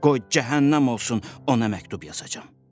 Qoy cəhənnəm olsun, ona məktub yazacam.